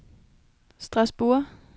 Strasbourg